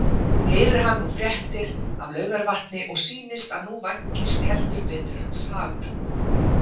Heyrir hann nú fréttir af Laugarvatni og sýnist að nú vænkist heldur betur hans hagur.